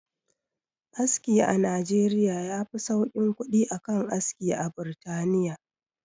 Aski a nijeriya yafi sauƙin kuɗi a kan aski a burtaniya